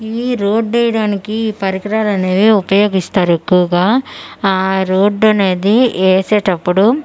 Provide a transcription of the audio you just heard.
ఈ రోడ్ ఎయ్డానికి ఈ పరికరాలు అనేవి ఉపయోగిస్తారు ఎక్కువగా ఆ రోడ్ అనేది యేసేటప్పుడు--